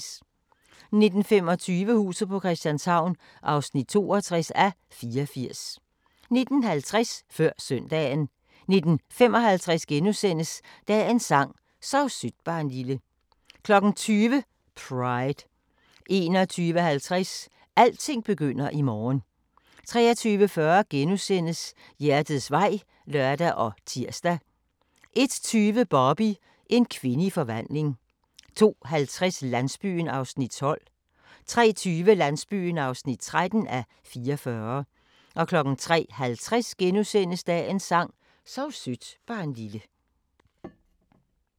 19:25: Huset på Christianshavn (62:84) 19:50: Før Søndagen 19:55: Dagens sang: Sov sødt barnlille * 20:00: Pride 21:50: Alting begynder i morgen 23:40: Hjertets vej *(lør og tir) 01:20: Barbie – en kvinde i forvandling 02:50: Landsbyen (12:44) 03:20: Landsbyen (13:44) 03:50: Dagens sang: Sov sødt barnlille *